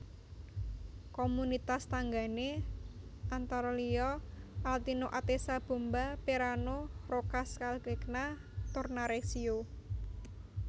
Komunitas tanggané antara liya Altino Atessa Bomba Perano Roccascalegna Tornareccio